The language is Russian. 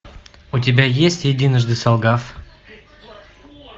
у тебя есть единожды солгав